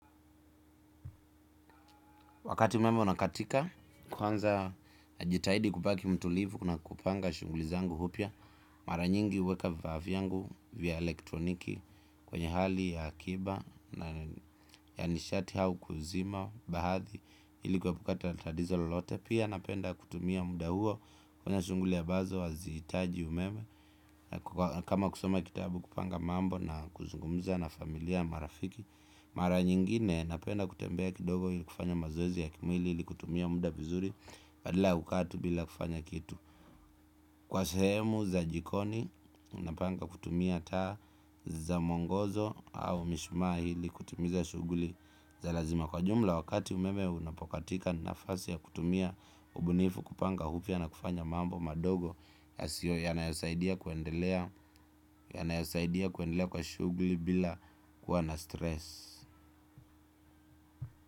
Wakati umeme unakatika, kwanza najitahidi kubaki mtulivu na kupanga shughuli zangu upya mara nyingi huweka vifaa vyangu vya elektroniki kwenye hali ya akiba na ya nishati hau kuzima baadhi ili kuepuka tatizo lolote. Pia napenda kutumia muda huo kwenye shughuli ambazo hazihitaji umeme. Kama kusoma kitabu kupanga mambo na kuzungumza na familia marafiki. Mara nyingine napenda kutembea kidogo ili kufanya mazoezi ya kimwili ili kutumia muda vizuri badala ya kukaa tu bila kufanya kitu kwa sehemu za jikoni unapanga kutumia taa za mwongozo au mishuma ili kutimiza shughuli za lazima kwa ujumla wakati umeme unapokatika nafasi ya kutumia ubunifu kupanga upya na kufanya mambo madogo yasiyo yanayosaidia kuendelea kwa shughuli bila kuwa na stress.